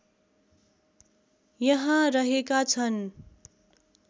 यहाँ रहेका छन्